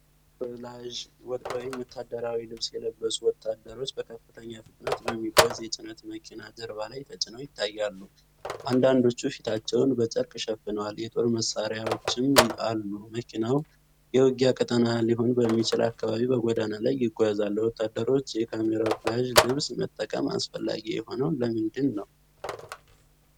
ካሜራውፍላዥ (ወታደራዊ) ልብስ የለበሱ ወታደሮች በከፍተኛ ፍጥነት በሚጓዝ የጭነት መኪና ጀርባ ላይ ተጭነው ይታያሉ። አንዳንዶቹ ፊታቸውን በጨርቅ ሸፍነዋል፣ የጦር መሳሪያዎችም አሉ። መኪናው የውጊያ ቀጠና ሊሆን በሚችል አካባቢ በጎዳና ላይ ይጓዛል። ለወታደሮች የካሜራውፍላዥ ልብስ መጠቀም አስፈላጊ የሆነው ለምንድን ነው?